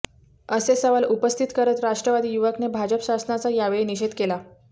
असे सवाल उपस्थित करत राष्ट्रवादी युवकने भाजप शासनाचा यावेळी निषेध केला